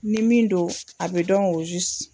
Ni min don a bɛ dɔn